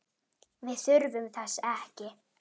Við þurfum þess ekki.